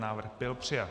Návrh byl přijat.